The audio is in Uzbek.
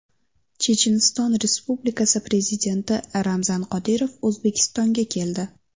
Checheniston Respublikasi prezidenti Ramzan Qodirov O‘zbekistonga keldi.